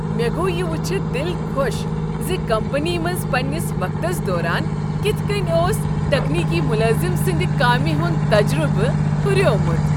مےٚ گوٚو یہ وٕچھتھ دل خۄش ز کمپنی منٛز پننس وقتس دوران کتھ کٔنۍ اوس تکنیکی ملٲزم سند کامہ ہند تجربہٕ ہریومت۔